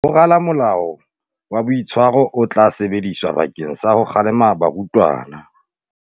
Ho rala molao wa boitshwaro o tla sebediswa bakeng sa ho kgalema barutwana.